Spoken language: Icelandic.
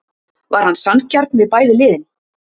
Var hann sanngjarn við bæði liðin?